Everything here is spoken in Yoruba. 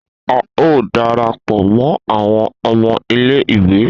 A o darapọ mọ awọn ọmọ ilé ìwé